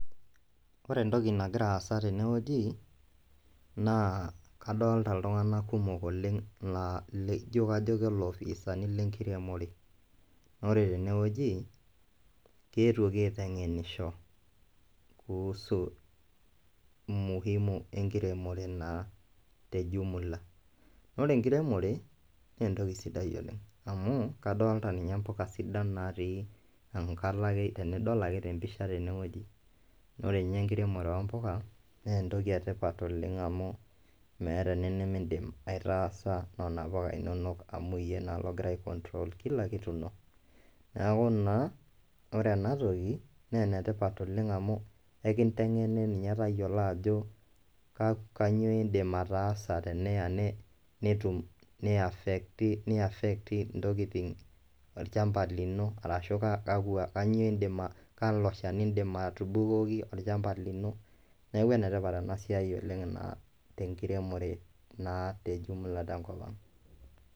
Ore entoki nagira aasa tenewueji nakadolta ltunganak kumok la kajo kalofisani lenkiremore, na ore tenewueji keetuoki aitengenisho kuhusu umuhimu enkiremore taa tejumula, ore enkiremoto na entoki sidai oleng amu kadolta nye mpuka sidan natii ake enkalo tempisha, na ore nye enkiremore ompuka na entoki etipat oleng nemeeta entoki nimindim aitaasa mpuka inonok amu iyie naa ogira ai control mpuka inonok, neaku naa ore enatoki na enetipat oleng amu ekintengeni nye tayiolo kanyio indim ataasa ntokitin olchamba ashu kalo shani indim atubukoki olchamba lino neaku enetipat oleng enasiai tenkopang.